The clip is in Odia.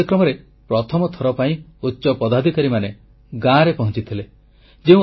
ଏହି କାର୍ଯ୍ୟକ୍ରମରେ ପ୍ରଥମ ଥର ପାଇଁ ଉଚ୍ଚ ପଦାଧିକାରୀମାନେ ଗାଁରେ ପହଂଚିଥିଲେ